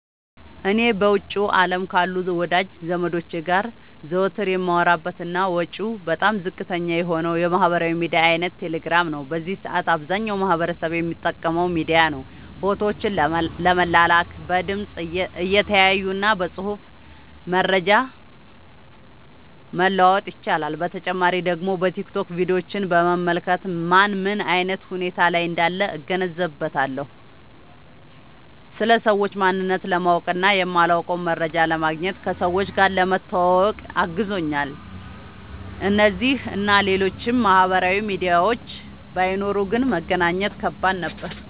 እኔ በውጭው አለም ካሉ ወዳጅ ዘመዶቸ ጋር ዘወትር የማወራበት እና ወጪው በጣም ዝቅተኛ የሆነው የማህበራዊ ሚዲያ አይነት ቴሌግራም ነው። በዚህ ሰአት አብዛኛው ማህበረሰብ የሚጠቀምበት ሚዲያ ነው። ፎቶዎችን ለመላላክ፣ በድምፅ(እየተያዩ) እና በፅሁፍ መረጃ መለዋወጥ ይቻላል። በተጨማሪ ደግሞ በቲክቶክ ቪዲዮችን በመመልከት ማን ምን አይነት ሁኔታ ላይ እንዳለ እገነዘብበታለሁ። ስለ ሰዎች ማንነት ለማወቅ እና የማላውቀውን መረጃ ለማግኘት፣ ከሰዎች ጋር ለመተዋወቅ አግዞኛል። እነዚህ እና ሌሎችም ማህበራዊ ሚዲያዎች ባይኖሩ ግን መገናኘት ከባድ ነበር።